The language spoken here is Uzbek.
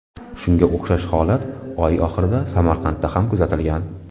Shunga o‘xshash holat oy oxirida Samarqandda ham kuzatilgan .